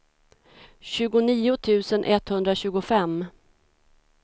tjugonio tusen etthundratjugofem